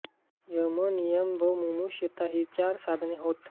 यमनियम व मुमुक्षुता ही ती चार साधने होत